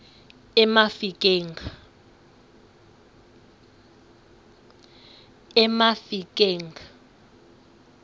emafikeng